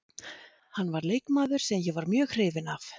Hann var leikmaður sem ég var mjög hrifinn af.